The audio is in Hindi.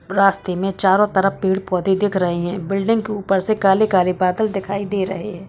रास्ते में चारो तरफ पेड़-पौधे दिख रहे है बिल्डिंग के ऊपर से काले-काले बादल दिखाई दे रहे है।